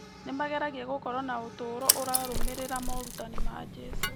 Nĩ mageragia gũkorwo na ũtũũro ũrarũmĩrĩra morutani ma Jesũ.